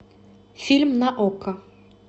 фильм на окко